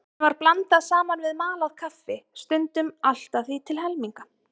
Henni var blandað saman við malað kaffi, stundum allt að því til helminga.